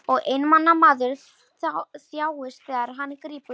Og einmana maður þjáist þegar hann grípur í tómt.